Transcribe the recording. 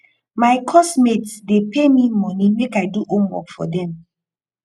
my course mates dey pay me money make i do homework for dem